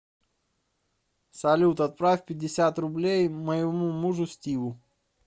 салют отправь пятьдесят рублей моему мужу стиву